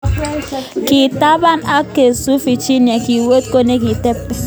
Kitapan ak kesup Virginia kiwe kot nikitepen .